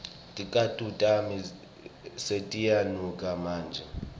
ticatfulo tami setiyanuka manje